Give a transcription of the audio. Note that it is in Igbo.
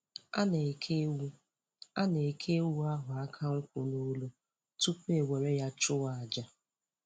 A na-eke ewu A na-eke ewu ahụ aka nkwụ n'olu tupu e were ya chụọ aja